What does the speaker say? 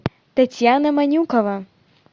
татьяна манюкова